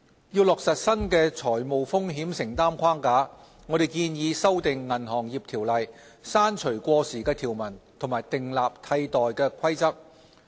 要落實新的財務風險承擔框架，我們建議修訂《銀行業條例》，刪除過時的條文和訂立替代規則。